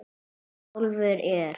Sjálfur er